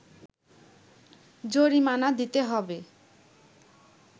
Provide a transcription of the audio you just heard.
জরিমানা দিতে হবে